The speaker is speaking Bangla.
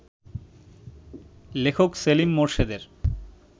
লেখক সেলিম মোরশেদের